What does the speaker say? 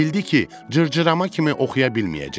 Bildi ki, cırcırama kimi oxuya bilməyəcək.